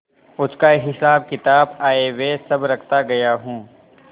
उसका हिसाबकिताब आयव्यय सब रखता गया हूँ